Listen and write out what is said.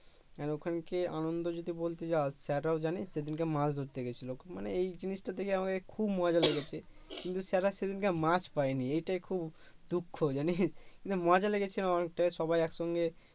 আর ওখানে কি আনন্দ যদি বলতে যাস স্যাররাও জানে সেদিনকে মাছ ধরতে গেছিলো খুব মানে এই জিনিস টা দেখে আমাকে খুব মজা লেগেছে কিন্তু স্যাররা সেদিনকে মাছ পায়নি এইটাই খুব দুঃখ জানিস কিন্তু মজা লেগেছে আমার কাছে সবাই একসঙ্গে